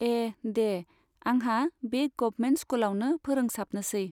ए दे, आंहा बे गभमेन्ट स्कुलावनो फोरोंसाबनोसै।